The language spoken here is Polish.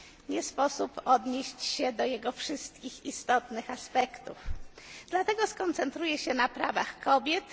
Nie sposób odnieść się do jego wszystkich istotnych aspektów, dlatego skoncentruję się na prawach kobiet.